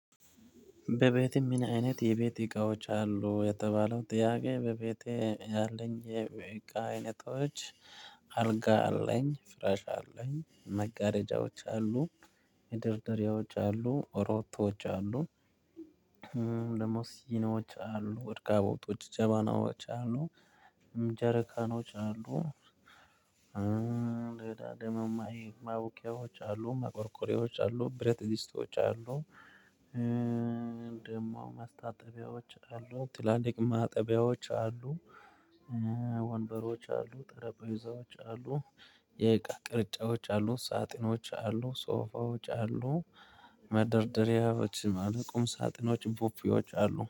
በቤቴ ምን አይነት የቤቴ እቃዎች አሉ የተባለው ጥያቄ በቤቴ ያለኝ የቤቴ እቃ አይነቶች። አልጋ አለኝ ፍራሽ አለኝ መጋረጃዎች አሉ። መደርደሪዎች አሉ ሮቶዎች አሉ። ደግሞ ሲኖች አሉ ረከቦቶች ጀበናዎች አሉ። ጀረካኖች አሉ። ሌላ ደግሞ። ማውቂያዎች አሉ ማቆርቆርያዎች አሉ ብረት ድስቶች አሉ። ደግሞ ማስታጠቢያዎች አሉ ትላልቅ ማጠቢያዎች አሉ። ወንበሮች አሉ ጠረጴዛዎች አሉ። የእቃ ቅርጫዎች አሉ ሳጥኖች አሉ ሶፋዎች አሉ። መደርደሪያዎችም አሉ ቁም ሳጥኖችን ፖፖዎች አሉ